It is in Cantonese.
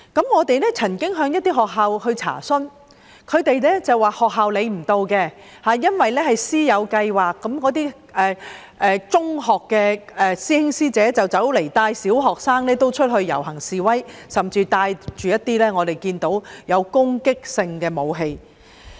我們曾經向一些學校查詢，但所得的回覆是學校管不了，因為那是師友計劃，中學的師兄師姐會帶小學生出去遊行示威，我們甚至看到他們帶着攻擊性武器。